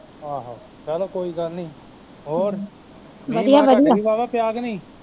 ਆਹੋ, ਚਲੋ ਕੋਈ ਗੱਲ ਨੀ ਹੋਰ ਮੀਂਹ ਮਾਹ ਤੁਹਾਡੇ ਵੀ ਵਾਵਾਂ ਪਿਆ ਕੇ ਨਹੀਂ